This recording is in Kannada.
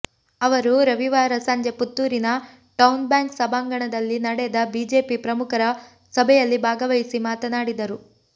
ಅವರು ರವಿವಾರ ಸಂಜೆ ಪುತ್ತೂರಿನ ಟೌನ್ ಬ್ಯಾಂಕ್ ಸಭಾಂಗಣದಲ್ಲಿ ನಡೆದ ಬಿಜೆಪಿ ಪ್ರಮುಖರ ಸಭೆಯಲ್ಲಿ ಭಾಗವಹಿಸಿ ಮಾತನಾಡಿದರು